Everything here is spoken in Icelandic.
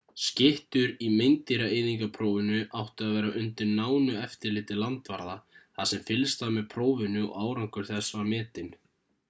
skyttur í meindýraeyðingarprófinu áttu að vera undir nánu eftirliti landvarða þar sem fylgst var með prófinu og árangur þess var metinn